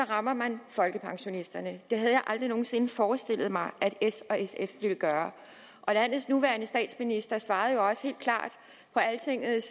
rammer man folkepensionisterne det havde jeg aldrig nogen sinde forestillet mig at s og sf ville gøre og landets nuværende statsminister svarede jo også i altingets